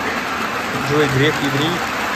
джой греф еврей